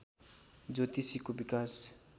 ज्योतिषीको विकास